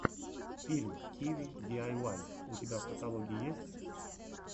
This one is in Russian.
фильм киви диайвай у тебя в каталоге есть